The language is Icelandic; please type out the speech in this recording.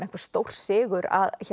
stórsigur